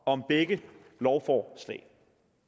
om begge lovforslag